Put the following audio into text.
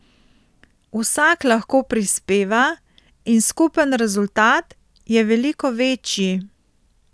Vsak lahko prispeva in skupen rezultat je veliko večji.